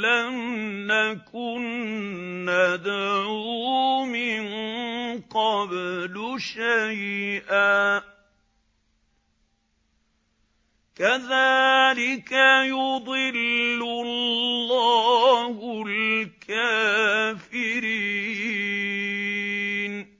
لَّمْ نَكُن نَّدْعُو مِن قَبْلُ شَيْئًا ۚ كَذَٰلِكَ يُضِلُّ اللَّهُ الْكَافِرِينَ